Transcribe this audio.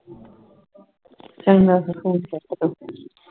ਚੰਗਾ ਫੇਰ phone ਕੱਟ ਦੇ